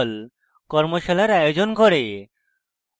tutorials ব্যবহার করে কর্মশালার আয়োজন করে